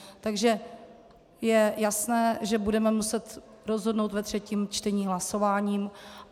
Takže je jasné, že budeme muset rozhodnout ve třetím čtení hlasováním.